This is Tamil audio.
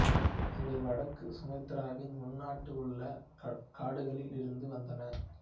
இவை வடக்கு சுமத்ராவின் உள்நாட்டில் உள்ள காடுகளில் இருந்து வந்தன